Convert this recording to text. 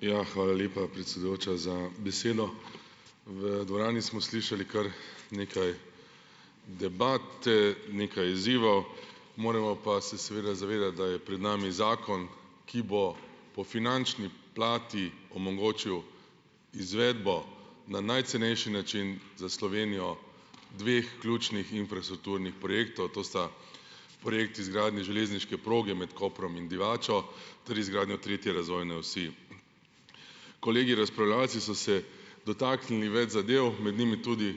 Ja, hvala lepa, predsedujoča, za besedo. V dvorani smo slišali kar nekaj debate, nekaj izzivov. Moramo pa se seveda zavedati, da je pred nami zakon, ki bo po finančni plati omogočil izvedbo na najcenejši način za Slovenijo dveh ključnih infrastrukturnih projektov, to sta projekt izgradnje železniške proge med Koprom in Divačo, torej izgradnjo tretje razvojne osi. Kolegi razpravljavci so se dotaknili več zadev, med njimi tudi